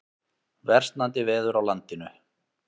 Versnandi veður á landinu